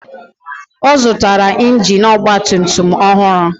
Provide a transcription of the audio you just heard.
Ọ zụtara injin ọgba tum tum ọhụrụ